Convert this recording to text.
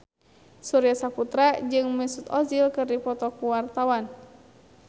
Surya Saputra jeung Mesut Ozil keur dipoto ku wartawan